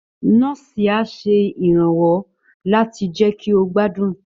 Nọ́ọ̀sì á ṣe ìrànwọ́ láti jẹ́ kí ó gbádùn